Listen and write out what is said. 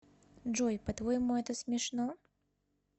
джой по твоему это смешно